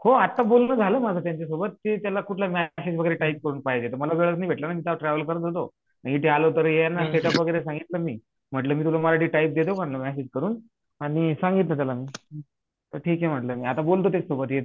हो आता बोलन झाल माझ त्यांच्या सोबत ते त्याला कोणत मेसेज वगैरे टाईप करून पाहिजे मला वेळच नाही भेटलाना इथे आलो तर यांना सेट उप वगैरे सांगितलं मी म्हंटल मी मराठीत टाईप देतो मेसेज करून आणि सांगितलं त्याला तर ठीक हे आता बोलत त्याच्या सोबत